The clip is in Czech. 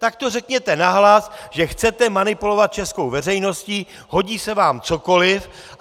Tak to řekněte nahlas, že chcete manipulovat českou veřejností, hodí se vám cokoliv.